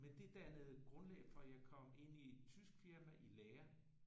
Men det dannede grundlag for jeg kom ind i et tysk firma i lære